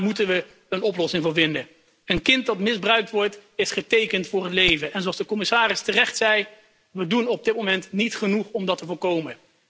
Daar moeten we een oplossing voor vinden. Een kind dat misbruikt wordt, is getekend voor het leven en zoals de Commissaris terecht zei, we doen op dit moment niet genoeg om dat te voorkomen.